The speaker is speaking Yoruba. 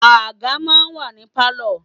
Àga máa ń wà ní Pálọ̀.